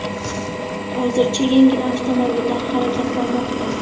Hozircha yengil avtomobillar harakatlanmoqda.